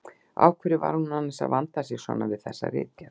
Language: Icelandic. Af hverju var hún annars að vanda sig svona við þessa ritgerð!